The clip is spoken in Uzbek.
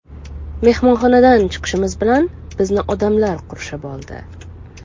Mehmonxonadan chiqishimiz bilan bizni odamlar qurshab oldi.